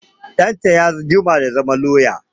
Ɗanta ya jima da zama lauya